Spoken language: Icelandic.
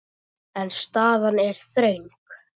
En staðan er þröng.